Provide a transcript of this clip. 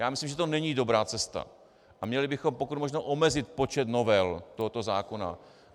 Já myslím, že to není dobrá cesta a měli bychom pokud možno omezit počet novel tohoto zákona.